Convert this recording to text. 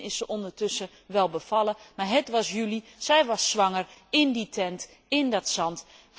Misschien is ze ondertussen wel bevallen. Maar het was juli, zij was zwanger, in die tent, in dat zand.